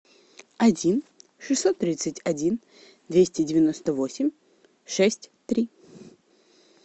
один шестьсот тридцать один двести девяносто восемь шесть три